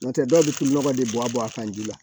N'o tɛ dɔw bɛ nɔgɔ de bɔ a bɔ a kan ji la